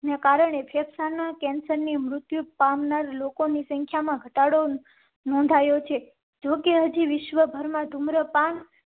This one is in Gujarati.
ને કારણે ફેફસાંનાં કેન્સર ની મૃત્યુ પામનાર લોકો ની સંખ્યા માં ઘટાડો નોંધાયો છે. જોકે હજી વિશ્વભરમાં ધુમ્રપાન